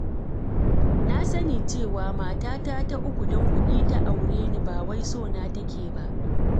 Na sani cewa matata ta uku don kuɗina ta aure ni, ba wai sona take ba.